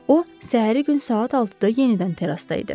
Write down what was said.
O, səhəri gün saat 6-da yenidən terrasda idi.